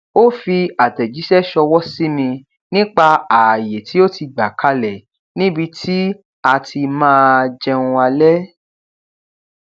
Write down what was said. ó fi àtẹjíṣẹ ṣọwọ sí mi nípa àayè tí ó ti gbà kalẹ níbi tí a ti máa jẹun alẹ